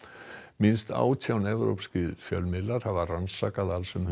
minnst átján evrópskir fjölmiðlar hafa rannsakað alls um